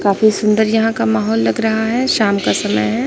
काफी सुंदर यहां का माहौल लग रहा है शाम का समय है।